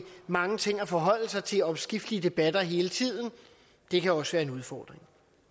mange ting at forholde sig til og omskiftelige debatter hele tiden det kan også være en udfordring